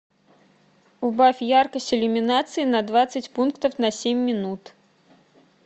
убавь яркость иллюминации на двадцать пунктов на семь минут